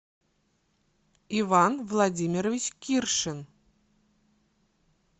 иван владимирович киршин